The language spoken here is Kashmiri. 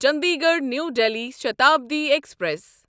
Chandigarh New Delhi Shatabdi express